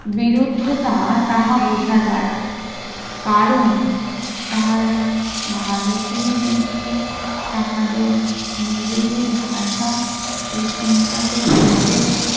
বিরুদ্ধতা তাহা বোঝা যায় কারণ তারা ভারতীয়দেরকে তাহাদের নিজেদের ভাষা ও চিন্তাকে বলতে